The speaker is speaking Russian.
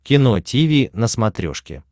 кино тиви на смотрешке